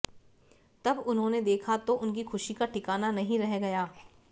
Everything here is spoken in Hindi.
जब उन्होंने देखा तो उनकी खुशी का ठिकाना नहीं रह गया